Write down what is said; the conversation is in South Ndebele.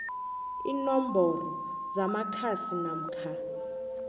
iinomboro zamakhasi namkha